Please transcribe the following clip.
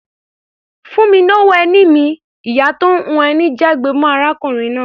"Fún mi lówó ẹni mi!", ìyá tó ń hun ẹni jágbe mọ́ arákùnrin náà.